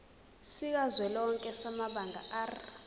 sikazwelonke samabanga r